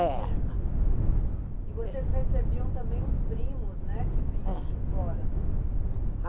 É. E vocês recebiam também os primos, né, que vinham de fora?